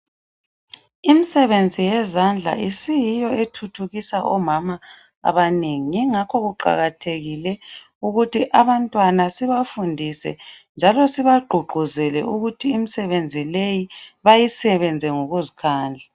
Imisebenzi yezandla isiyiyo esithuthukisa omama abanengi yingakho kuqakathekile ukuthi abantwana sibafundise njalo sibagqugquzele ukuthi imisebenzi leyi bayisebenze ngokuzikhandla.